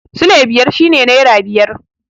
Sule biyar shi ne nera biyar